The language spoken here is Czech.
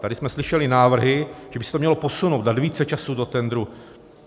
Tady jsme slyšeli návrhy, že by se to mělo posunout, dát více času do tendru.